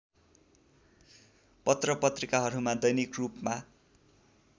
पत्रपत्रिकाहरूमा दैनिक रूपमा